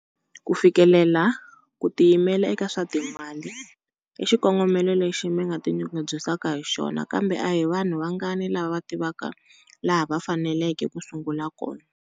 Ku fikelela ku tiyimela eka swa timali i xikongomelo lexi mi nga tinyungubyisaka hi xona, kambe a hi vanhu vangani lava va tivaka laha va faneleke ku sungula kona.